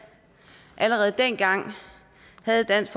allerede dengang havde dansk